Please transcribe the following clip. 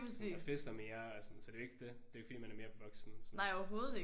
Og man fester mere og sådan så det er jo ikke det. Det er ikke fordi man er mere voksen sådan